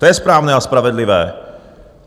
To je správné a spravedlivé.